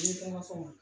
N ye kuma fɔ